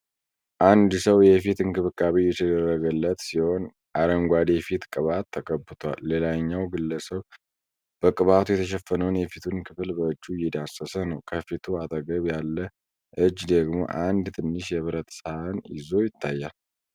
አንድ ሰው የፊት እንክብካቤ እየተደረገለት ሲሆን፣ አረንጓዴ የፊት ቅባት ተቀብቷል። ሌላኛው ግለሰብ በቅባቱ የተሸፈነውን የፊቱን ክፍል በእጁ እየዳሰሰ ነው። ከፊቱ አጠገብ ያለ እጅ ደግሞ አንድ ትንሽ የብረት ሳህን ይዞ ይታያል።